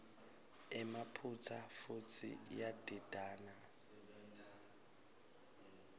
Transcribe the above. emaphutsa futsi iyadidana